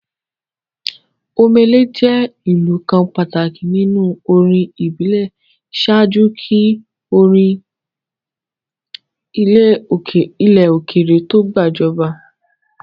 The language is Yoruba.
Omele jẹ́ ìlù kan pàtàkì nínú orin ìbílẹ̀ ṣáájú kí orin ilẹ̀ òkèèrè to gbàjọba.